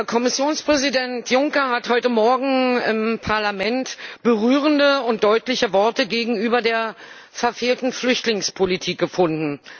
Kommissionspräsident Juncker hat heute Morgen im Parlament berührende und deutliche Worte gegenüber der verfehlten Flüchtlingspolitik gefunden.